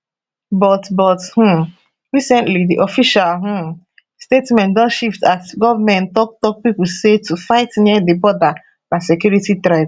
but but um recently di official um statement don shift as goment toktok pipo say to fight near di border na security threat